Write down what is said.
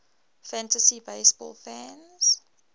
fantasy baseball fans